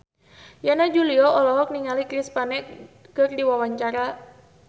Yana Julio olohok ningali Chris Pane keur diwawancara